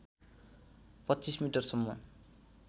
२५ metre सम्म